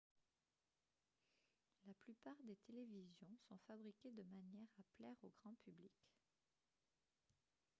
la plupart des télévisions sont fabriquées de manière à plaire au grand public